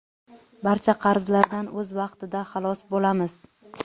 barcha qarzlardan o‘z vaqtida xalos bo‘lamiz.